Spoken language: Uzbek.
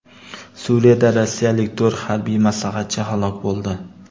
Suriyada rossiyalik to‘rt harbiy maslahatchi halok bo‘ldi.